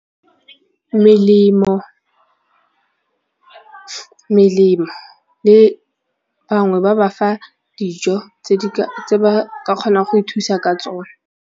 Melemo melemo le bangwe ba ba fa dijo tse ba ka kgonang go ithusa ka tsone.